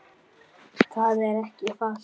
Það er ekki falt